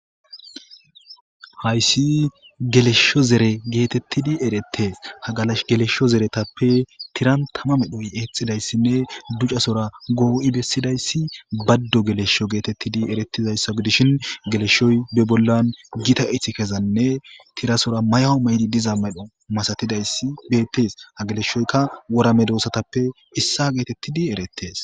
Hays gelesho zere getetidi eretes ha gelesho zeretape tiran tama medhoy exidaysanne ducasora go'i besidays bado gelesho getetidi eretizaysa gidishin gelesho be bolla diza ithikezanne tirasora mayo mayidi diza medho masaidays betes ha geleshoyka worw medosatape issuwa getetidi eretes